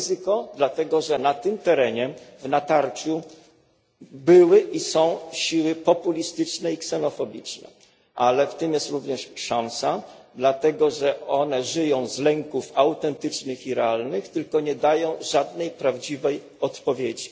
Ryzyko dlatego, że na tym terenie w natarciu były i są siły populistyczne i ksenofobiczne, ale w tym jest również szansa dlatego, że one żyją z lęków autentycznych i realnych, tylko nie dają żadnej prawdziwej odpowiedzi.